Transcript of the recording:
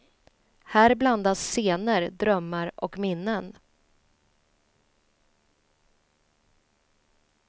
Här blandas scener, drömmar och minnen.